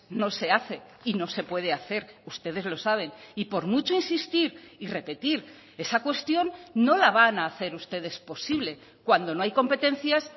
no se hace y no se puede hacer ustedes lo saben y por mucho insistir y repetir esa cuestión no la van a hacer ustedes posible cuando no hay competencias